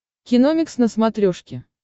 киномикс на смотрешке